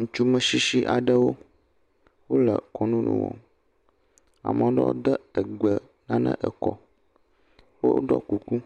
Ŋutsu metsitsi aɖewo , woe kɔnunu wɔ, ame ɖewo de egbe nane ekɔ, woɖɔ kuku,